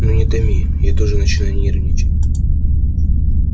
ну не томи я тоже начинаю нервничать